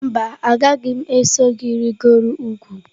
Mba, agaghị m eso gị rịgoro ugwu.